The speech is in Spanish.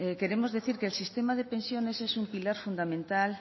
queremos decir que el sistema de pensiones es un pilar fundamental